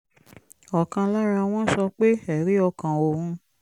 ọ̀kan lára wọn sọ pé ẹ̀rí ọkàn òun